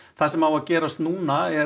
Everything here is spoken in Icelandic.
það sem á að gera núna er